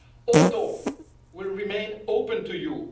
Our door will remain open to you.